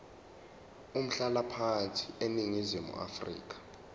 umhlalaphansi eningizimu afrika